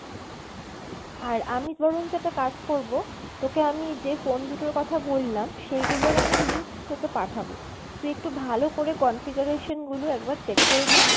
আর আমি বরঞ্চ একটা কাজ করবো তোকে আমি যেই phone দুটোর কথা বললাম সেইগুলোর আমি link তোকে পাঠাবো, তুই একটু ভালো করে configuration গুলো একবার check করে নিস।